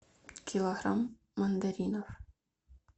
килограмм мандаринов